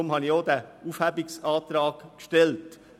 Deshalb hatte ich diesen Aufhebungsantrag gestellt.